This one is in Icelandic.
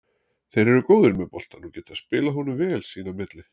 Þeir eru góðir með boltann og geta spilað honum vel sín á milli.